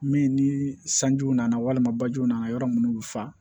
Min ni sanjiw nana walima bajiw nana yɔrɔ minnu bɛ fa